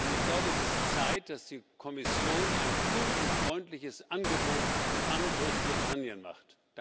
Ich glaube, es ist Zeit, dass die Kommission ein kundenfreundliches Angebot an Großbritannien macht.